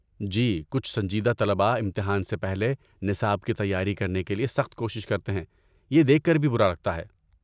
جی، کچھ سنجیدہ طلباء امتحان سے پہلے نصاب کی تیاری کر نے کے لیے سخت کوشش کرتے ہیں، یہ دیکھ کر بھی برا لگتا ہے۔